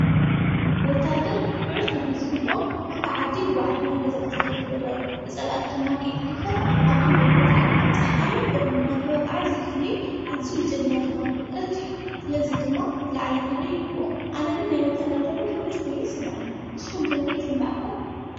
ወታደር ልዑል ክብሪ ዝግቦን ሓንታ ዓዲ ብባዕዳውያ ንገዛእቲኸኣይትወረር ብጸላኣቲ ድማ ከትድፈር ኣብ ድን በር ከፊኢሉ ፀሓይን፣ ቑርንና፣ ተወቓዓ ዘሕሊ ዓዚ ጀግና ዝኾነ ፍቕረት እዩ ።ስለዝ ድማ ዝለዓለ ኽብሪ ይግቦ ኣነግን ናይ ወታደርዶሞ ዘውኁድ ኮይኑ ይስምዐኒ ንስሆም ከንታ ይስምዐኩም?